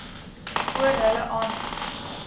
oor hulle aansoek